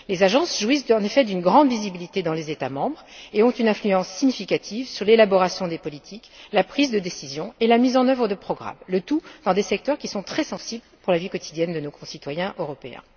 Les agences jouissent en effet d'une grande visibilité dans les États membres et ont une influence significative sur l'élaboration des politiques, la prise de décisions et la mise en œuvre de programmes, le tout dans des secteurs qui sont très sensibles pour la vie quotidienne de nos concitoyens européens.